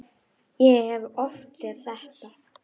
Ég hef oft séð þetta.